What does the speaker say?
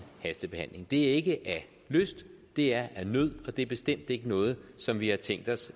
hastebehandling det er ikke af lyst det er af nød og det er bestemt ikke noget som vi har tænkt os